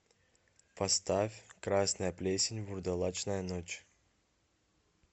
поставь красная плесень вурдалачная ночь